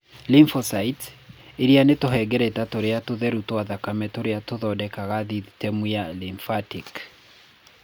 Lymphocytes, iria nĩ tũhengereta tũrĩa tũtheru twa thakame tũrĩa tũthondekaga thithitemu ya lymphatic.